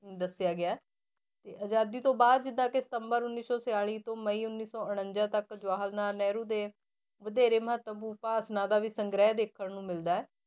ਦੱਸਿਆ ਗਿਆ, ਤੇ ਆਜ਼ਾਦੀ ਤੋਂ ਬਾਅਦ ਜਿੱਦਾਂ ਕਿ ਸਤੰਬਰ ਉੱਨੀ ਸੌ ਛਿਆਲੀ ਤੋਂ ਮਈ ਉੱਨੀ ਸੌ ਉਣੰਜਾ ਤੱਕ ਜਵਾਹਰ ਲਾਲ ਨਹਿਰੂ ਦੇ ਵਧੇਰੇ ਮਹੱਤਵਪੂਰਨ ਭਾਸ਼ਣਾਂ ਦਾ ਵੀ ਸੰਗ੍ਰਹਿ ਦੇਖਣ ਨੂੰ ਮਿਲਦਾ ਹੈ।